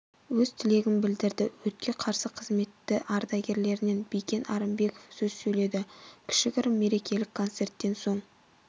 өз тілегін білдірді өртке қарсы қызметі ардагерлерінен бикен арымбеков сөз сөйледі кішігірім мерекелік концерттен соң